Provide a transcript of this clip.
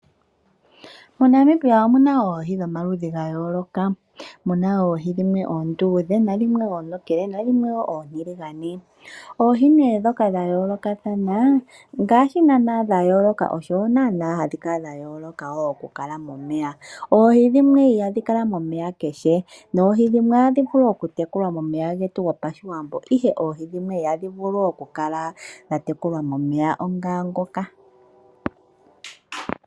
MoNamibia omuna oohi dhomaludhi ga yooloka, omuna oohi oonduudhe nadhimwe oontokele, nadhimwe oontiligane. Oohi nee ndhoka dha yoolokathana ngaashi naana sha yooloka osho naana hadhi kala dha yooloka wo okukala momeya. Oohi dhimwe ihadhi kala momeya kehe noohi dhimwe ohadhi vulu okutekulwa momeya getu gopashiwambo ihe oohi dhimwe ihadhi kala dha tekulwa momeya onga ngooka.